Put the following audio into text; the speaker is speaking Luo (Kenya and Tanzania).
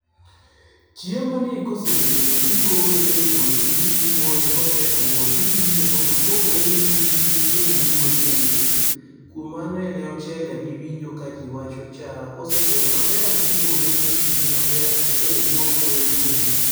Chiemoni kosebedo tigole epuothi, tidhi imoye, kosetuo tidine mondo opogre yugi gichiemo owuon nieiye. Kuom mano en e ochele miwinjo kaji wacho cha. Kosebedo maber tigole tidine maber tochele wuok weyo yugi.